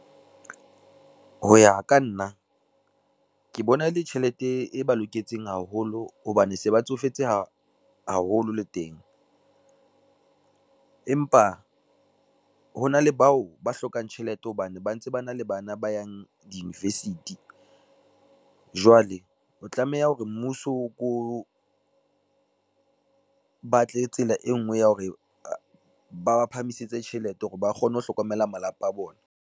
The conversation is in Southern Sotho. Ho ya ka nna, ke bona e le tjhelete e ba loketseng haholo hobane se ba tsofetse haholo le teng, empa hona le bao ba hlokang tjhelete hobane ba ntse ba na le bana ba yang di-university. Jwale ho tlameha hore mmuso o ko, batle tsela e ngwe ya hore ba ba phahamisetse tjhelete hore ba kgone ho hlokomela malapa a bona.